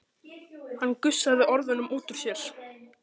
Hann gusaði orðunum út úr sér.